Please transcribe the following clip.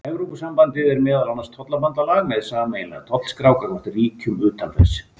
Evrópusambandið er meðal annars tollabandalag með sameiginlega tollskrá gagnvart ríkjum utan þess.